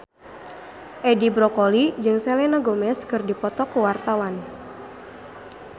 Edi Brokoli jeung Selena Gomez keur dipoto ku wartawan